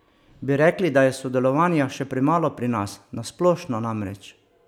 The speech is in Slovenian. Bi rekli, da je sodelovanja še premalo pri nas, na splošno namreč?